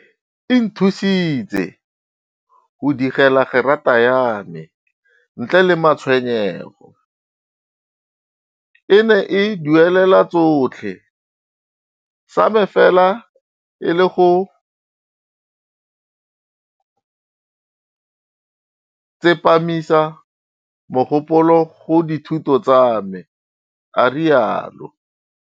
E nthusitse go digela gerata ya me ntle le matshwenyego. E ne e duelela tsotlhe, sa me fela e le go tsepamisa mogopolo go dithuto tsa me, a rialo.